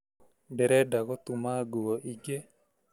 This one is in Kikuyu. Ndĩrenda gũtuma nguo ĩngĩ